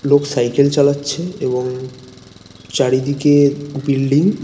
লোক সাইকেল চালাচ্ছে এবং চারিদিকে বিল্ডিং ।